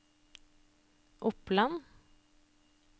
Oppland